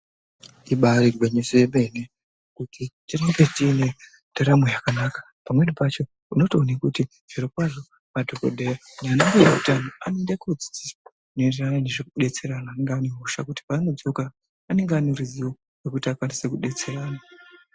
Ibarigwinyiso yemene kuti tinge tiine ndaramo yakanaka pamweni pacho nekuti zvirokwazvo madhokodheya nanambuya utano anoenda kunodzidziswa ngezvekubetsera antu anonga aine hosha kuti paanodzoka anonga aineruzivo rwekukwanisa kubetsera antu.